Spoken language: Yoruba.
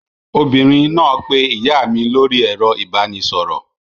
Obìnrin náà pé ìyá mi lórí ẹ̀rọ ìbanisọ̀rọ̀.